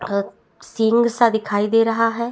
अ सींग सा दिखाई दे रहा है।